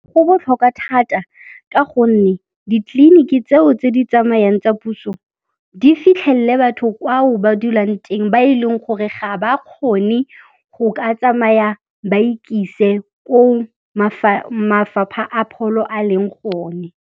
Go botlhokwa thata ka gonne ditleliniki tseo tse di tsamayang tsa puso di fitlhelele batho kwao ba dulang teng ba e leng gore ga ba kgone go ka tsamaya ba ikise ko mafapha a pholo a leng gone.